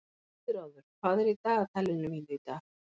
Guðráður, hvað er í dagatalinu mínu í dag?